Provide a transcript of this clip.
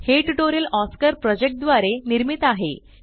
हे tutorial Oscar project द्वारे निर्मित आहे